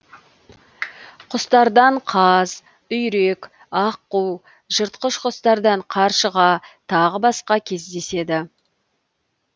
құстардан қаз үйрек аққу жыртқыш құстардан қаршыға тағы басқа кездеседі